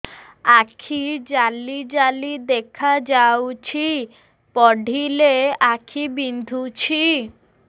ଆଖି ଜାଲି ଜାଲି ଦେଖାଯାଉଛି ପଢିଲେ ଆଖି ବିନ୍ଧୁଛି